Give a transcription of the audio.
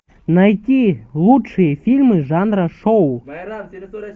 найти лучшие фильмы жанра шоу